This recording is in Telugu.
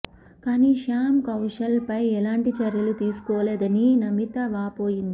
కానీ శ్యామ్ కౌశల్ పై ఎలాంటి చర్యలు తీసుకోలేదని నమిత వాపోయింది